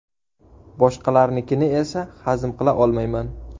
Boshqalarnikini esa hazm qila olmayman.